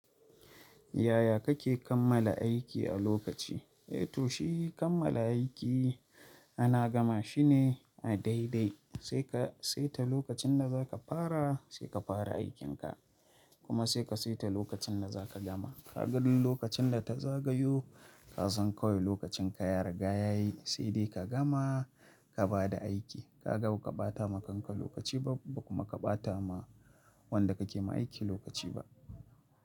Yaya kake kammala aiki a lokaci? Eh to shi kammala aiki ana gama shi ne a daidai. Sai ka saita lokacin da za ka fara sai ka fara aikin ka kuma sai ka saita lokacin da za ka gama. Ka ga duk lokacin da ta zagayo ka san kawai lokacin ka ya riga yayi sai dai ka gama ka bada aiki. Kaga baka bata ma kanka lokaci ba kuma ka bata ma wanda kake ma aiki lokaci ba.